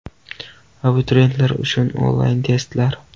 Abituriyentlar uchun onlayn testlar!.